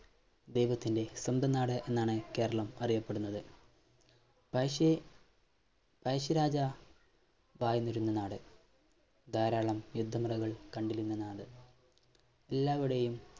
ദൈവത്തിൻറെ സ്വന്തം നാട് എന്നാണ് കേരളം അറിയപ്പെടുന്നത് പയശ്ശി പയശ്ശിരാജ വായ്‌ന്നിരുന്ന നാട് ധാരാളം യുദ്ധമുറകൾ കണ്ടിരുന്ന നാട് എല്ലാവരുടെയും